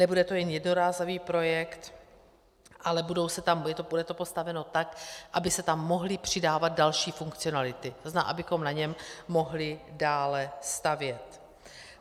Nebude to jen jednorázový projekt, ale bude to postaveno tak, aby se tam mohly přidávat další funkcionality, to znamená, abychom na něm mohli dále stavět.